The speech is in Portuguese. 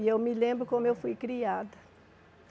E eu me lembro como eu fui criada.